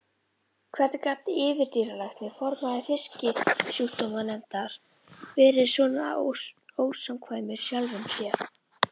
Hvernig gat yfirdýralæknir, formaður Fisksjúkdómanefndar, verið svona ósamkvæmur sjálfum sér?